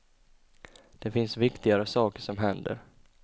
Det finns viktigare saker som händer.